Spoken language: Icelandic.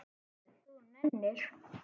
Ef þú nennir.